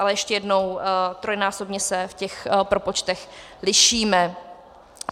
Ale ještě jednou, trojnásobně se v těch propočtech lišíme.